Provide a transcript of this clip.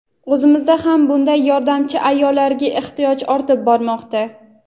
O‘zimizda ham bunday yordamchi ayollarga ehtiyoj ortib bormoqda.